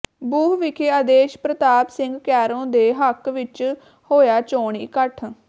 ਬੂਹ ਵਿਖੇ ਆਦੇਸ਼ ਪ੍ਰਤਾਪ ਸਿੰਘ ਕੈਰੋਂ ਦੇ ਹੱਕ ਵਿਚ ਹੋਇਆ ਚੋਣ ਇਕੱਠ